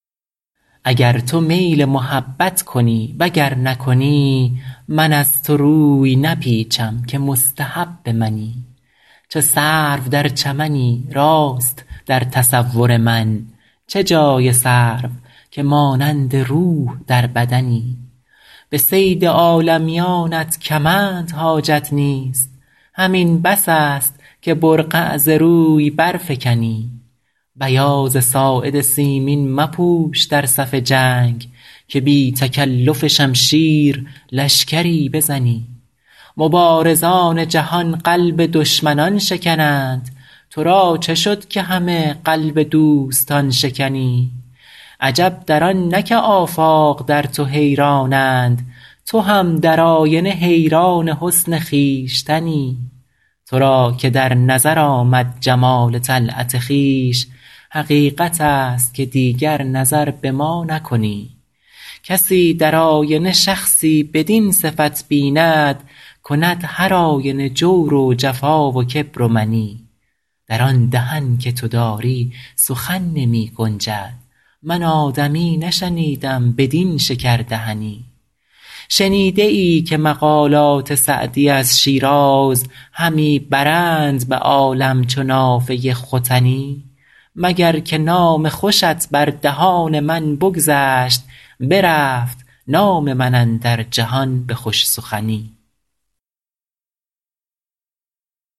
اگر تو میل محبت کنی و گر نکنی من از تو روی نپیچم که مستحب منی چو سرو در چمنی راست در تصور من چه جای سرو که مانند روح در بدنی به صید عالمیانت کمند حاجت نیست همین بس است که برقع ز روی برفکنی بیاض ساعد سیمین مپوش در صف جنگ که بی تکلف شمشیر لشکری بزنی مبارزان جهان قلب دشمنان شکنند تو را چه شد که همه قلب دوستان شکنی عجب در آن نه که آفاق در تو حیرانند تو هم در آینه حیران حسن خویشتنی تو را که در نظر آمد جمال طلعت خویش حقیقت است که دیگر نظر به ما نکنی کسی در آینه شخصی بدین صفت بیند کند هرآینه جور و جفا و کبر و منی در آن دهن که تو داری سخن نمی گنجد من آدمی نشنیدم بدین شکردهنی شنیده ای که مقالات سعدی از شیراز همی برند به عالم چو نافه ختنی مگر که نام خوشت بر دهان من بگذشت برفت نام من اندر جهان به خوش سخنی